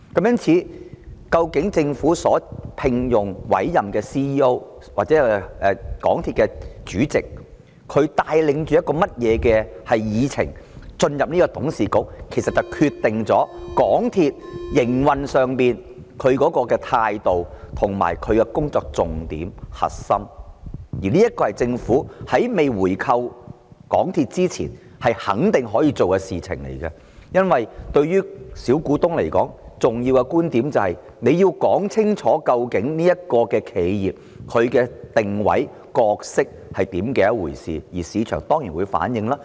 因此，究竟政府所聘用或委任的 CEO 或港鐵公司的主席是帶着甚麼議程進入董事局，其實便決定了港鐵公司在營運上的態度和工作重點及核心，而這是政府在未回購港鐵公司前肯定可以做的事情，因為對於小股東而言，重要的是政府要說清楚究竟這間企業的定位和角色是甚麼，這在市場上當然會反映出來。